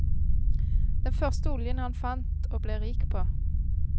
Den første oljen han fant og ble rik på.